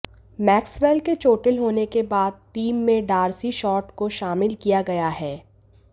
Maxwell के चोटिल होने के बाद टीम में डार्सी शॉट को शामिल किया गया है